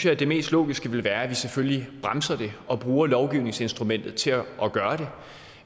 at det mest logiske ville være at vi selvfølgelig bremser det og bruger lovgivningsinstrumentet til at gøre